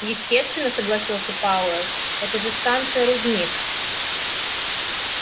естественно согласился пауэлл это же станция-рудник